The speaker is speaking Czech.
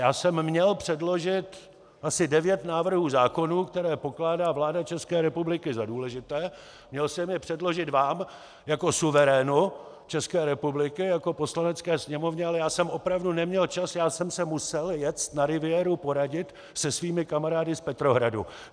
Já jsem měl předložit asi 9 návrhů zákonů, které pokládá vláda České republiky za důležité, měl jsem je předložit vám jako suverénu České republiky, jako Poslanecké sněmovně, ale já jsem opravdu neměl čas, já jsem se musel jet na riviéru poradit se svými kamarády z Petrohradu.